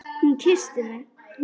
Hún kyssti mig!